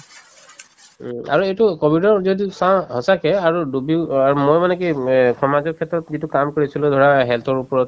উম, আৰু এইটো কভিডক যিহেতু সঁচাকে আৰু ডুবিও অ আৰু মই মানে কি উম এ সমাজৰ ক্ষেত্ৰত যিটো কাম কৰিছিলো ধৰা health ৰ ওপৰত